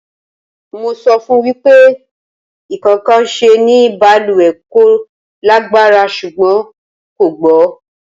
Mo sọ fún wípé ikokansi ni baluwe kò lágbára ṣùgbọ́n kò gbọ́